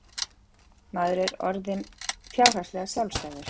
Maður var orðinn fjárhagslega sjálfstæður.